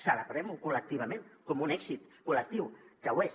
celebrem ho col·lectivament com un èxit col·lectiu que ho és